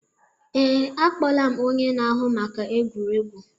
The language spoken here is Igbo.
Ee, akpọla m onye na-ahụ maka egwuregwu